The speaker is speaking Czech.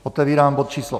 Otevírám bod číslo